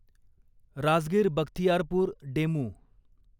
Rajgir Bakhtiyarpur DEMU